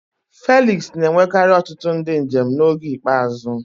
Felix na-enwekarị ọtụtụ ndị njem n'oge ikpeazụ.